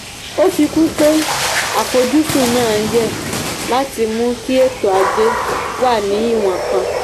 ó fi kún un pé àfojúsùn náà yẹ láti mú kí ètò ajé wà ní ìwọ̀n kan.